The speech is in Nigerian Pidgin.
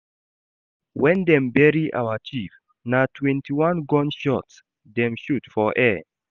Wen dem bury our chief, na twenty-one gun shots dem shoot for air.